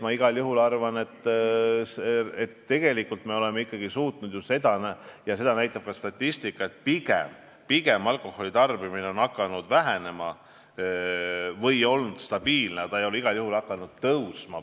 Ma igal juhul arvan, et tegelikult me oleme ikkagi suutnud saavutada seda , et pigem on alkoholitarbimine hakanud vähenema või on jäänud samaks, aga igal juhul ei ole ta hakanud tõusma.